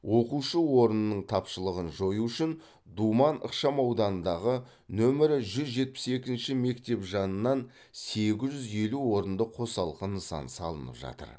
оқушы орнының тапшылығын жою үшін думан ықшамауданындағы нөмірі жүз жетпіс екінші мектеп жанынан сегіз жүз елу орынды қосалқы нысан салынып жатыр